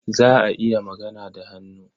Za a iya magana da hannu.